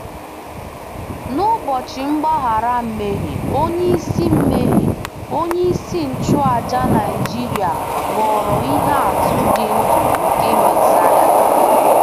N'Ụbọchị Mgbaghara Mmehie, onyeisi Mmehie, onyeisi nchụàjà Naịjiria ghọrọ ihe atụ dị ndụ nke Mesaya